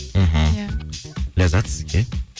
мхм иә ләззат сізге